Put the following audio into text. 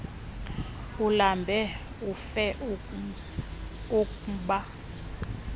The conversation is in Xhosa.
ulambe ufe ukba